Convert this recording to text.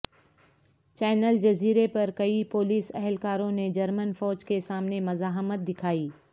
channel جزیرے پر کئی پولیس اہلکاروں نے جرمن فوج کے سامنے مزاحمت دکھائی